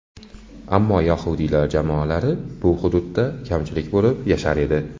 Ammo yahudiylar jamoalari bu hududda kamchilik bo‘lib yashar edi.